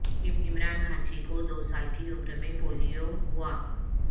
عمران گھانچی کو دو سال کی عمر میں پولیو ہوا